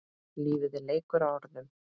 Lífið er leikur að orðum.